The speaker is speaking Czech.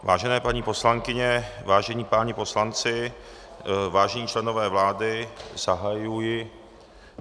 Vážené paní poslankyně, vážení páni poslanci, vážení členové vlády, zahajuji...